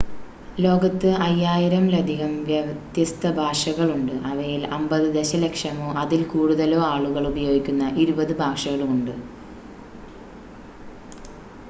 ലോകത്ത് 5,000 ലധികം വ്യത്യസ്ത ഭാഷകളുണ്ട് അവയിൽ 50 ദശലക്ഷമോ അതിൽ കൂടുതലോ ആളുകൾ ഉപയോഗിക്കുന്ന ഇരുപത് ഭാഷകളുമുണ്ട്